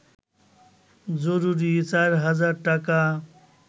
জরুরির ৪ হাজার টাকা